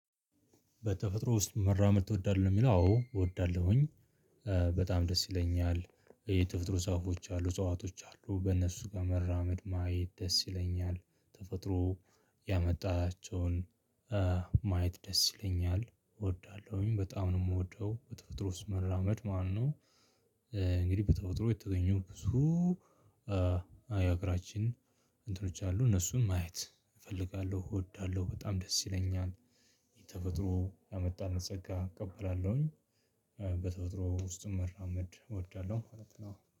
በተፈጥሮ ውስጥ መራመድ ትወዳለህ ነው የሚለው አዎ እወዳለሁኝ። በጣም ደስ ይለኛል የተፈጥሮ እጸ አሉ እጸዋቶች አሉ በእነሱ ጋር መራመድ ማየት ደስ ይለኛል ተፈጥሮ ያመጣቸውን ማየት ደስ ይለኛል እወዳለሁኝ በጣም ነው የምወደው። በተፈጥሮ ውስጥ መራመድ ማለት ነው። እንግዲህ በተፈጥሮ የተገኙ ብዙ አይ አገራችን እንትኖች አሉ እነሱን ማየት እፈልጋለሁ እወዳለሁ በጣም ደስ ይለኛል። ተፈጥሮ ያመጣልን ጸጋ እቀበላለሁኝ። በተፈጥሮ ውስጥ መራመድ እወዳለሁ።